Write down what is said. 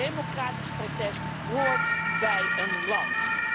Democratisch protest hoort bij een land.